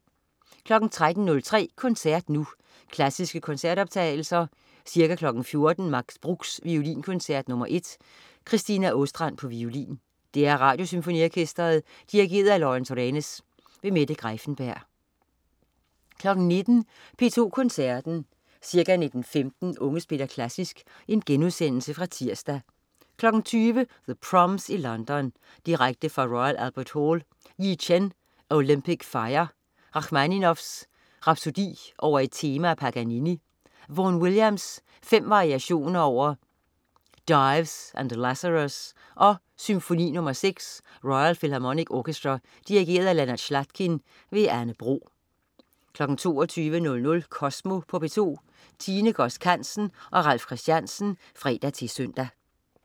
13.03 Koncert Nu. Klassiske koncertoptagelser. Ca. 14.00 Max Bruchs Violinkoncert nr. 1. Christina Åstrand, violin. DR Radiosymfoniorkestret. Dirigent: Lawrence Renes. Mette Greiffenberg 19.00 P2 Koncerten. Ca. 19.15 Unge spiller Klassisk (Genudsendelse fra tirsdag). 20.00 The Proms i London. Direkte fra Royal Albert Hall. Yi Chen: Olympic Fire. Rakhmaninov: Rhapsodie over et tema af Paganini. Vaughan Williams: Fem variationer over Dives and Lazarus og Symfoni nr. 6. Royal Philharmonic Orchestra. Dirigent: Leonard Slatkin. Anne Bro 22.00 Kosmo på P2. Tine Godsk Hansen og Ralf Christensen (fre-søn)